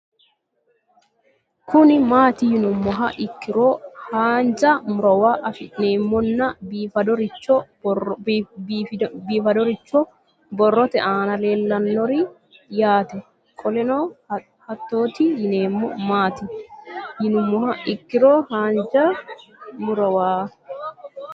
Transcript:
Kuni mati yinumoha ikiro hanja murowa afine'mona bifadoricho boroote ana leelanori yaate qoleno hatoti yinemo maati yinumoha ikiro hanja murowa